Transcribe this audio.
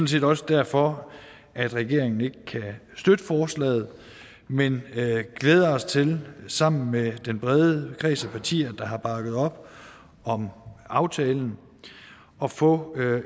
set også derfor at regeringen ikke kan støtte forslaget men vi glæder os til sammen med den brede kreds af partier der har bakket op om aftalen at få